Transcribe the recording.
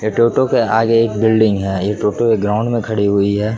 ये टोटो के आगे बिल्डिंग है ये टोटो एक ग्राउंड में खड़ी हैं।